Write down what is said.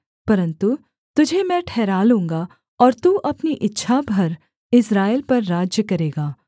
परन्तु तुझे मैं ठहरा लूँगा और तू अपनी इच्छा भर इस्राएल पर राज्य करेगा